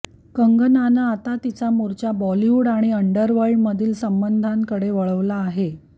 कंगनानं आता तिचा मोर्चा बॉलीवूड आणि उंडरवर्ल्डमधील संबंधांकडे वळवला आहे